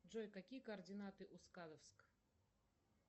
джой какие координаты у сказовск